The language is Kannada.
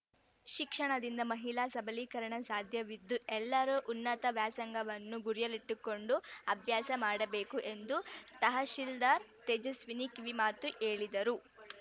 ಶಿಕ್ಷಣದಿಂದ ಮಹಿಳಾ ಸಬಲೀಕರಣ ಸಾಧ್ಯವಿದ್ದು ಎಲ್ಲರೂ ಉನ್ನತ ವ್ಯಾಸಂಗವನ್ನು ಗುರಿಯಾಳಿಟ್ಟುಕೊಂಡು ಅಭ್ಯಾಸ ಮಾಡಬೇಕು ಎಂದು ತಹಶೀಲ್ದಾರ್ ತೇಜಸ್ವಿನಿ ಕಿವಿ ಮಾತು ಹೇಳಿದರು